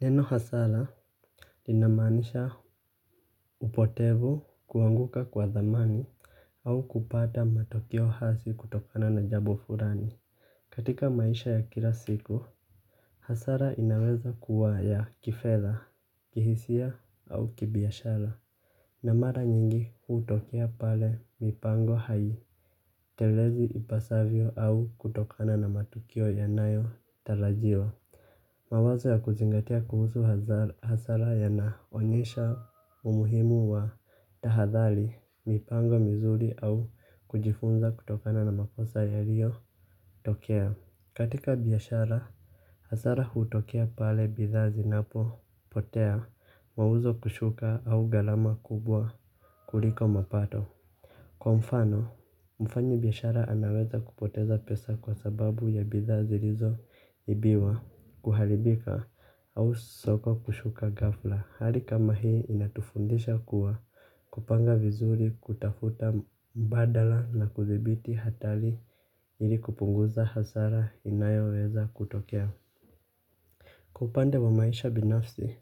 Neno hasara, inamaanisha upotevu kuanguka kwa dhamani au kupata matokeo hasi kutokana na jambo fulani. Katika maisha ya kila siku, hasara inaweza kuwa ya kifedha, kihisia au kibiashara. Na mara nyingi hutokea pale mipango haitelezi ipasavyo au kutokana na matukio yanayo tarajiwa. Mawazo ya kuzingatia kuhusu hasara yanaonyesha umuhimu wa tahadhari, mipango mizuri au kujifunza kutokana na makosa yaliyotokea. Katika biashara, hasara hutokea pale bidhaa zinapopotea mauzo kushuka au gharama kubwa kuliko mapato. Kwa mfano, mfanyibiashara anaweza kupoteza pesa kwa sababu ya bidhaa zilizoibiwa kuharibika au soko kushuka ghafla. Hali kama hii inatufundisha kuwa kupanga vizuri kutafuta mbadala na kudhibiti hatari ili kupunguza hasara inayoweza kutokea. Kwa upande wa maisha binafsi,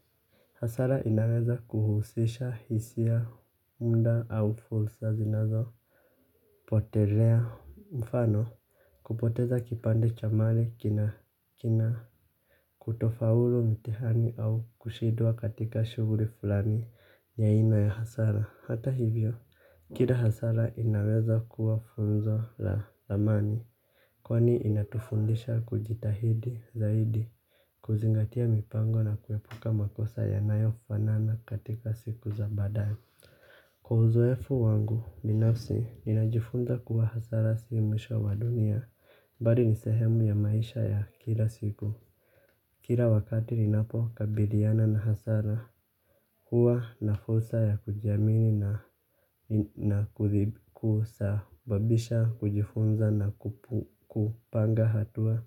hasara inaweza kuhusisha hisia muda au fursa zinazo potelea mfano kupoteza kipande cha mali kina kutofaulu mtihani au kushindwa katika shuguli fulani ya aina ya hasara. Hata hivyo, kila hasara inaweza kuwa funzo la thamani, kwani inatufundisha kujitahidi zaidi kuzingatia mipango na kuepuka makosa yanayofanana katika siku za badae. Kwa uzoefu wangu, binafsi, ninajifunza kuwa hasara si mwisho wa dunia, bali ni sehemu ya maisha ya kila siku. Kila wakati ninapokabiliana na hasara, huwa na fursa ya kujiamini na kuthibibisha, kujifunza na kupanga hatua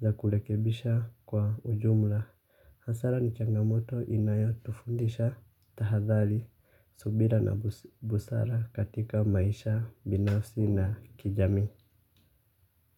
za kurekebisha kwa ujumla. Hasara ni changamoto inayotufundisha tahadhari, subira na busara katika maisha, binafsi na kijamii.